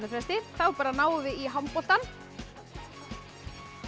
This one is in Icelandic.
fresti þá bara náum við í handboltann